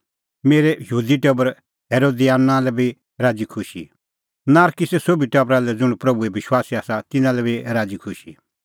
मेरै यहूदी टबर हेरोदियोना लै बी राज़ीखुशी नारकिसे सोभी टबरा लै ज़ुंण प्रभूए विश्वासी आसा तिन्नां लै बी राज़ीखुशी